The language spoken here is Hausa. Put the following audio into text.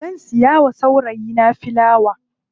Zan siya wa saurayi na filawa.